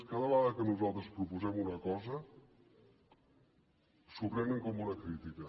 cada vegada que nosaltres proposem una cosa s’ho prenen com una crítica